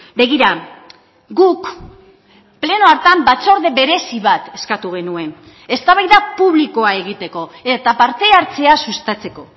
begira guk pleno hartan batzorde berezi bat eskatu genuen eztabaida publikoa egiteko eta parte hartzea sustatzeko